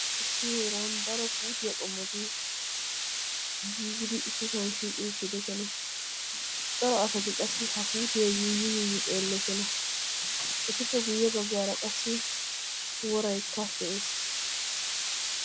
issi heeran daro puutiya qommoti giigidi issisan shiiqi uttiisona. cora asati qassi ha puutiya yuuyyi yuuyyi xeelloosona. etuppe guyye baggaara qassi woraykka de'es.